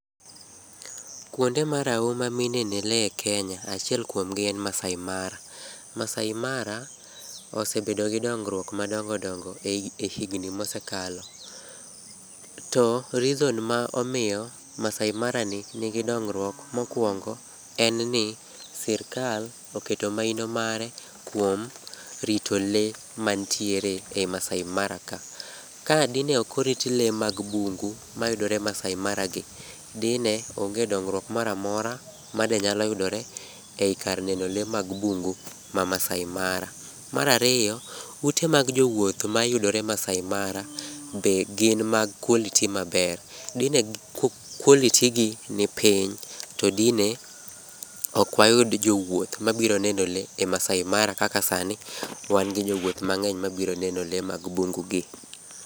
Kuonde marahuma minene lee e Kenya achiel kuomgi en Maasai Mara. Maasai Mara osebedo gi dongruok madongodongo e higni mosekalo. To reason ma omiyo Maasai Mara ni nigi dongruok mokuongo en ni, sirkal oketo mahino mare kuom rito lee mantiere e i Maasai Mara ka. Kadine ok orit lee mag bungu mayudore Maasai Mara gi, dine onge dongruok moro amora made nyalo yudore e i kar neno lee mag bungu ma Maasai Mara. Mar ariyo, ute mag jowuoth mayudore Maasai Mara, be gin mag quality maber. Dine quality gi nipiny, to dine ok wayud jowuoth mabiro neno lee e Maasai Mara kaka sani wan gi jowuoth mang'eny mabiro neno lee mag bungu gi.